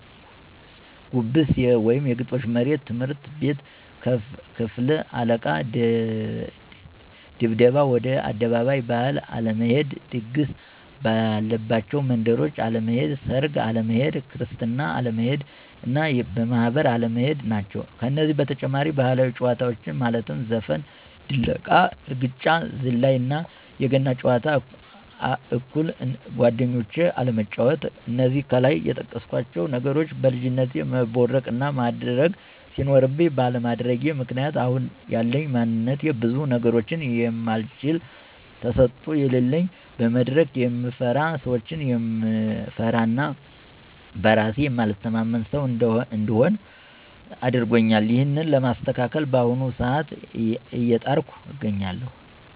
ጉብስ(የግጦሽ መሬት)፣ትምህርት ቤት የክፍል አለቃ ድብደባ፣ ወደ አደባባይ ባህል አለመሄድ፣ ድግስ ባለባቸው መንደሮች አለመሄድ፣ ሰርግ አለመሄድ፣ ክርስትና አለመሄድ እና ማህበር አለመሄድ ናቸው። ከነዚህ በተጨማሪ ባህላዊ ጨዋታዎች ማለትም ዘፈን፣ ድለቃ፣ እርግጫ፣ ዝላይ እና የገና ጨዋታ አኩል እንደጓደኞቼ አለመጫዎት። እነዚህ ከላይ የጠቀስኳቸው ነገሮች በልጅነቴ መቦረቅ እና ማድረግ ሲኖርብኝ ባለማድረጌ ምክንያት አሁን ያለኝ ማንነት ብዙ ነገሮችን የማልችል፣ ተሰጦ የለለኝ፣ መድረክ የምፈራ፣ ሰዎችን የምፈራ እና በእራሴ የማልተማመን ሰው እንድሆን አድርጎኛል። ይህንን ለማስተካከል በአሁኑ ሰአት አየጣርኩ አገኛለሁ።